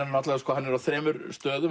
hann er á þremur stöðum